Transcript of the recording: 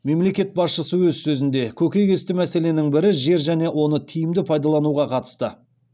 мемлекет басшысы өз сөзінде көкейтесті мәселенің бірі жер және оны тиімді пайдалануға қатысты